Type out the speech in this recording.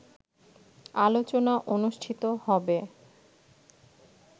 আলোচনা অনুষ্ঠিত হবে